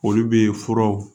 Olu bɛ furaw